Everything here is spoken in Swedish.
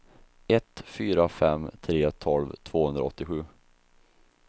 ett fyra fem tre tolv tvåhundraåttiosju